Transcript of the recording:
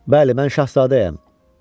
Bəli, mən Şahzadəyəm.